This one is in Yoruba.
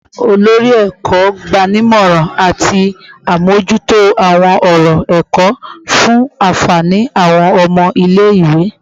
Olori Eko gbanimọran ati amojuto awọn ọrọ ẹkọ fun anfani awọn ọmọ ile-iwe